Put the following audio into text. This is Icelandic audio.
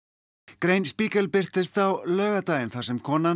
grein Spiegel birtist á laugardaginn þar sem konan